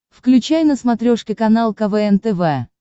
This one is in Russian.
включай на смотрешке канал квн тв